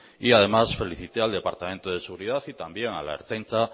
y además felicité al departamento de seguridad y también a la ertzaintza